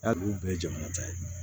Hali olu bɛɛ ye jamana ta ye